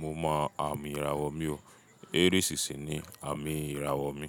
mo mọ àmì ìràwọ̀ mi o. Aries sì ni àmì ìràwọ̀ mi.